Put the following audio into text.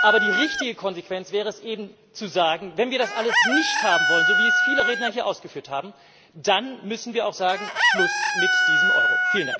Aber die richtige Konsequenz wäre eben Wenn wir das alles nicht haben wollen, so wie es viele Redner hier ausgeführt haben, dann müssen wir auch sagen Schluss mit diesem Euro!